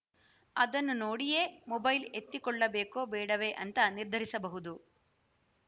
ಅದನ್ನು ನೋಡಿಯೇ ಮೊಬೈಲ್‌ ಎತ್ತಿಕೊಳ್ಳಬೇಕೋ ಬೇಡವೇ ಅಂತ ನಿರ್ಧರಿಸಬಹುದು